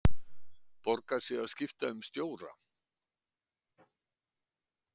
Borgar sig að skipta um stjóra?